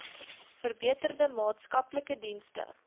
verbeterde maatskaplike dienste